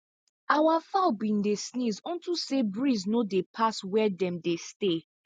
our fowl been dey sneeze unto say breeze no dey pass where dem dey stay